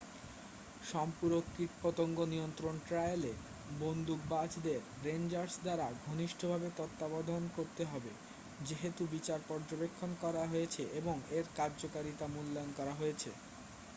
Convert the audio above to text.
সম্পূরক কীটপতঙ্গ নিয়ন্ত্রণ ট্রায়ালে বন্দুকবাজদের রেন্জার্স দ্বারা ঘনিষ্ঠভাবে তত্ত্বাবধান করতে হবে যেহেতু বিচার পর্যবেক্ষণ করা হয়েছে এবং এর কার্যকারিতা মূল্যায়ন করা হয়েছে